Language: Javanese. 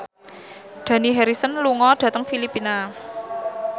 Dani Harrison lunga dhateng Filipina